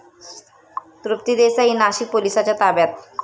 तृप्ती देसाई नाशिक पोलिसांच्या ताब्यात